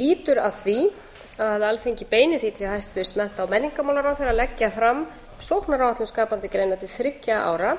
lýtur að því að alþingi beini því til hæstvirtrar mennta og menningarmálaráðherra að leggja fram sóknaráætlun skapandi greina til þriggja ára